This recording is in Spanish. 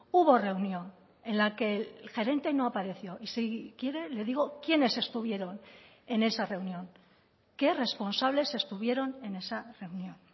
hubo reunión en la que el gerente no apareció y si quiere le digo quiénes estuvieron en esa reunión qué responsables estuvieron en esa reunión